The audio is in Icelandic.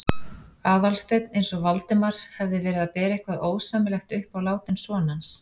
Aðalsteinn eins og Valdimar hefði verið að bera eitthvað ósæmilegt upp á látinn son hans.